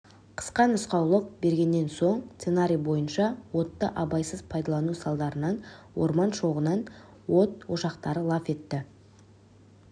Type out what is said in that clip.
қысқа нұсқаулық бергеннен соң сценарий бойынша отты абайсыз пайдалану салдарынан орман шоғынан от ошақтары лап етті